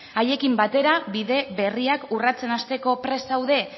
haiekin batera bide berriak urratsen hasteko prest zaude